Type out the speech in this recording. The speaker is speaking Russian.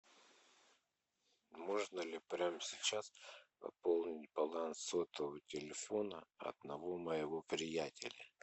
можно ли прямо сейчас пополнить баланс сотового телефона одного моего приятеля